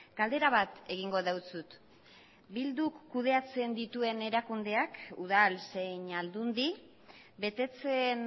galdera bat egingo dizut bilduk kudeatzen dituen erakundeak udal zein aldundi betetzen